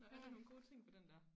Nåh er der nogen gode ting på den der